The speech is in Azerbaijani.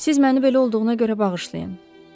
Siz məni belə olduğuna görə bağışlayın.